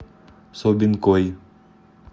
собинкой